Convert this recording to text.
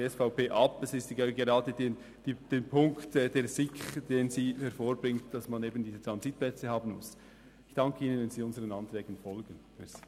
Es ist gerade der Punkt, den die SiK vorbringt, wonach man diese Transitplätze eben haben muss.